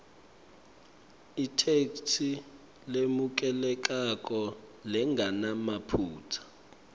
itheksthi lemukelekako lengenamaphutsa